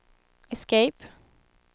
escape